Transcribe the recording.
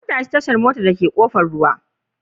An tashi tashar motar dake Kofar ruwa.